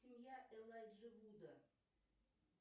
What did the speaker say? семья элайджи вуда